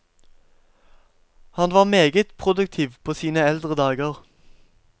Han var meget produktiv på sine eldre dager.